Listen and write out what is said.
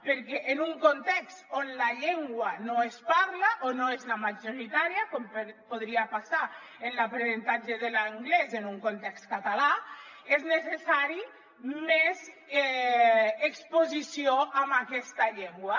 perquè en un context on la llengua no es parla o no és la majoritària com podria passar en l’aprenentatge de l’anglès en un context català és necessari més exposició en aquesta llengua